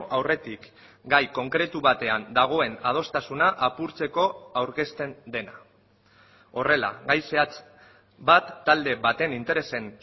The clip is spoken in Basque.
aurretik gai konkretu batean dagoen adostasuna apurtzeko aurkezten dena horrela gai zehatz bat talde baten interesen